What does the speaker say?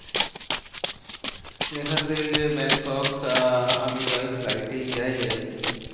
এখান থেকে ব্যাংকক আহ আমি by flight এই যাই আর কি।